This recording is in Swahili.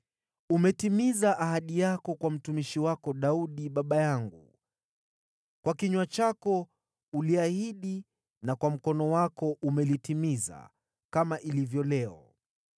Umetimiza ahadi yako kwa mtumishi wako Daudi baba yangu, kwa kinywa chako uliahidi na kwa mkono wako umetimiza, kama ilivyo leo.